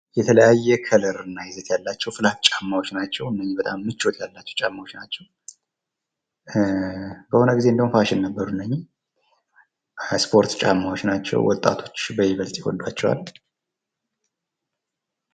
የተለያየ ከለር እና ይዘት ያላቸው ፍላት ጫማዎች ናቸው። እነዚህ በጣም ምቾት ያላቸው ጫማዎች ናቸው። የሆነ ጊዜ ፋሽን ነበሩ እንደዉም እነኚህ የስፖርት ጫማዎች ናቸው። ወጣቶች በይበልጥ ይወዷቸዋል።